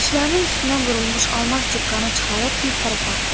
Saçlarının üstünə vurulmuş almaz cıqqanı çıxarıb bir tərəfə atdı.